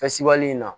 Fɛsibɔli in na